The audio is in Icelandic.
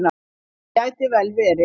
Það gæti vel verið.